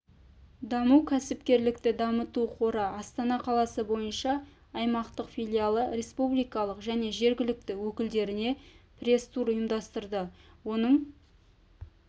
даму кәсіпкерлікті дамыту қоры астана қаласы бойынша аймақтық филиалы республикалық және жергілікті өкілдеріне пресс-тур ұйымдастырды оның